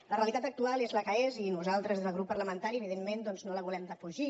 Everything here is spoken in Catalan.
la realitat actual és la que és i nosaltres des del grup parlamentari evidentment doncs no la volem defugir